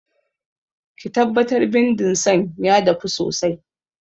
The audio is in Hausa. Ki tabbatar bindin san ya dafu sosai!